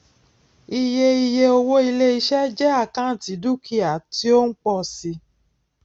iye iye owó iléiṣẹ jẹ àkántì dúkìá tí ó ń pọ si